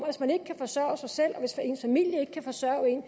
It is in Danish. hvis man ikke kan forsørge sig selv og hvis ens familie ikke kan forsørge en